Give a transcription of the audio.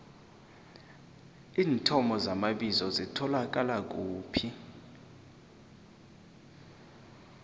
iinthomo zamabizo zitholakala kuphi